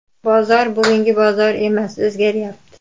Bozor – burungi bozor emas, o‘zgaryapti.